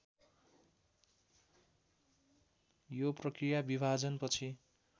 यो प्रक्रिया विभाजनपछि